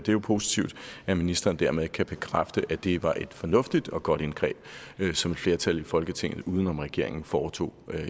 jo positivt at ministeren dermed kan bekræfte at det var et fornuftigt og godt indgreb som et flertal i folketinget uden om regeringen foretog